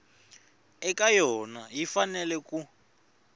eka yona yi fanele ku